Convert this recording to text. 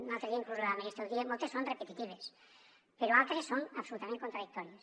i l’altre dia inclús la ministra ho deia moltes són repetitives però altres són absolutament contradictòries